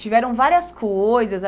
Tiveram várias coisas.